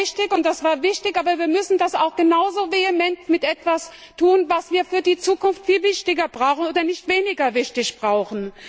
Das war richtig, und das war wichtig, aber wir müssen das auch genau so vehement mit etwas tun, was wir für die Zukunft viel wichtiger brauchen oder nicht weniger wichtig brauchen.